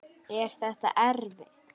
Er þetta erfitt?